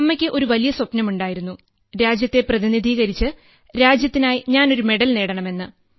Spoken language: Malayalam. അമ്മയ്ക്ക് ഒരു വലിയ സ്വപ്നം ഉണ്ടായിരുന്നു രാജ്യത്തെ പ്രതിനിധീകരിച്ച് രാജ്യത്തിനായി ഞാൻ മെഡൽ നേടണമെന്ന്